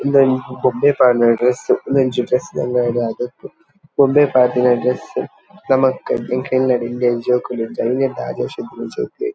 ಇಂದು ಒಂಜಿ ಗೊಂಬೆಗ್ ಪಾರ್ದಿನ ಡ್ರೆಸ್ ಇಂದೊಂಜಿ ಡ್ರೆಸ್ ತ ಅಂಗಡಿ ಆದಿಪ್ಪು ಗೊಂಬೆಗ್ ಪಾರ್ದಿನ ಡ್ರೆಸ್ ನಮಕ್ ಎಂಕಲ್ನ ಇಲ್ಲಡ್ ಎಲ್ಯ ಒಂಜಿ ಜೋಕುಲು ಐನೆರ್ದ್ ಆಜಿ ವರ್ಷದ ಜೋಕ್ಲೆಗ್